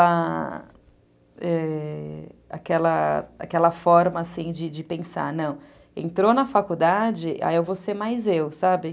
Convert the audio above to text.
a... é, aquela forma de pensar, não, entrou na faculdade, aí eu vou ser mais eu, sabe?